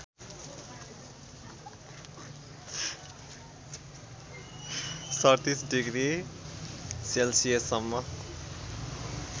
३७ degree सेल्सियससम्म